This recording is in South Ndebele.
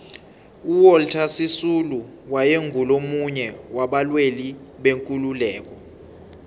uwalter sisulu waye ngumunye waba lwelibekululeko